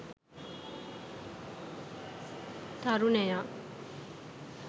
tarunaya